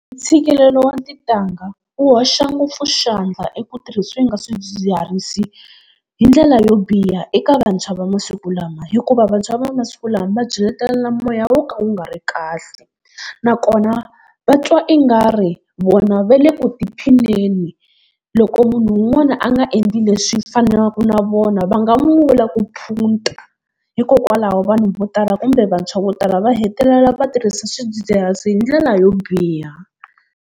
Ntshikelelo wa tintangha wu hoxa ngopfu xandla eku tirhiseni ka swidzidziharisi hi ndlela yo biha eka vantshwa va masiku lama, hikuva vantshwa va masiku lama va byeletelana moya wo ka wu nga ri kahle. Nakona va twa i nga ri vona va le ku tiphineni, loko munhu un'wana a nga endli leswi fanelaka na vona va nga n'wi vula ku phunta. Hikokwalaho vanhu vo tala kumbe vantshwa vo tala va hetelela va tirhisa swidzidziharisi hi ndlela yo biha.